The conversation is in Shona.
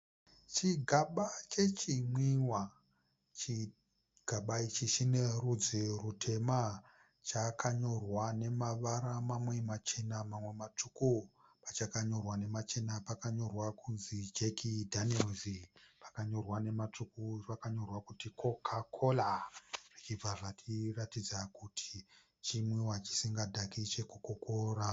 Chigaba chechimwiwa. Chigaba ichi chine rudzi rutema. Chakanyorwa nemavara mamwe machena, mamwe matsvuku. Pachakanyorwa nema chena pakanyorwa kunzi Jack Daniel,'s. Pakanyorwa nematsvuku pakanyorwa kuti Coca-Cola. Zvichibva zvatiratidza kuti chimwiwa chisinga dhaki che Coca-Cola .